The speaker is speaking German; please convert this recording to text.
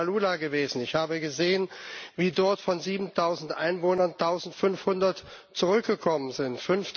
Ich bin in Maalula gewesen und habe gesehen, wie dort von 7000 Einwohnern 1500 zurückgekommen sind.